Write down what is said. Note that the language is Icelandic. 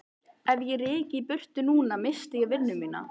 Ef ég ryki í burtu núna missti ég vinnuna.